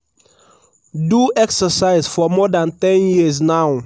do exercise for more dan ten years now.